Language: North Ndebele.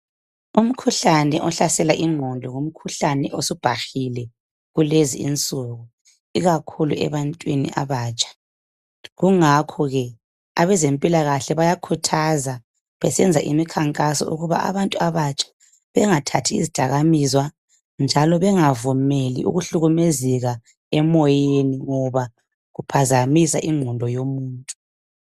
Umkhuhlane ohlasela ingqondo ngumkhuhlane osubhahile kulezi insuku, ikakhulu ebantwini abatsha. Kungakho ke, abezempilakahle bayakhuthaza besenza imikhankaso ukuba abantu abatsha bengathathi izidakamizwa njalo bengavumeli ukuhlukumezeka emoyeni, ngoba kuphazamisa ingqondo yomuntu.